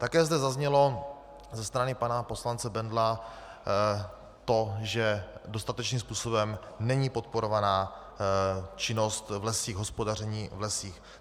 Také zde zaznělo ze strany pana poslance Bendla to, že dostatečným způsobem není podporovaná činnost v lesích, hospodaření v lesích.